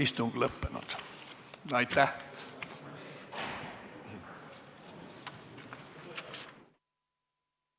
Istungi lõpp kell 17.56.